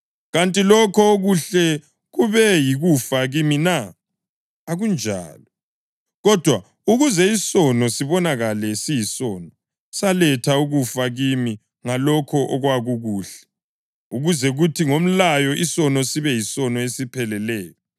Kanti lokho okuhle kube yikufa kimi na? Akunjalo! Kodwa ukuze isono sibonakale siyisono, saletha ukufa kimi ngalokho okwakukuhle, ukuze kuthi ngomlayo isono sibe yisono esipheleleyo.